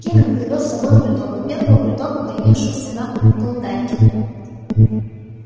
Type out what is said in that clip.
кинен привёз с собой бульдога первого бульдога появившегося на клондайке